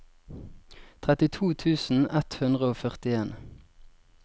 trettito tusen ett hundre og førtien